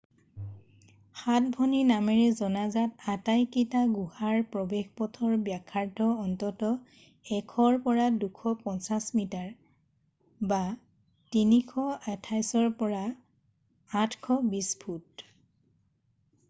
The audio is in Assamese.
সাত ভনী” নামেৰে জনাজাত আটাইকেইটা গুহাৰ প্ৰৱেশপথৰ ব্যাসাৰ্ধ অন্ততঃ ১০০ ৰ পৰা ২৫০ মিটাৰ ৩২৮ৰ পৰা ৮২০ ফুট।